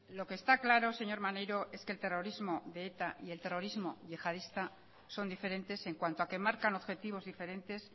lo que está claro señor maneiro es que el terrorismo de eta y el terrorismo yihadista son diferentes en cuanto a que marcan objetivos diferentes